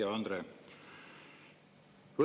Hea Andre!